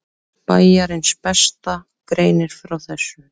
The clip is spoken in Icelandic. Bæjarins besta greinir frá þessu.